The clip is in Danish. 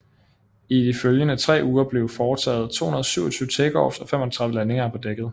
I de følgende tre uger blev foretaget 227 takeoffs og 35 landinger på dækket